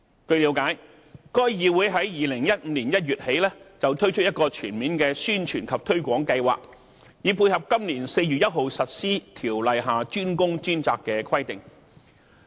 據了解，該議會自2015年1月起推出一個全面的宣傳及推廣計劃，以配合今年4月1日實施《條例》下"專工專責"的規定。